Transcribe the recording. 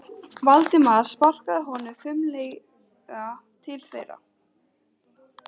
Valdimar sparkaði honum fimlega til þeirra.